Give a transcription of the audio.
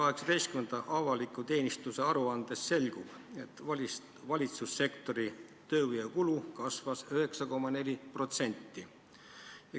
Avaliku teenistuse 2018. aasta aruandest selgub, et valitsussektori tööjõukulu kasvas 9,4%.